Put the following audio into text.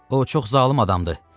O çox zalım adamdır.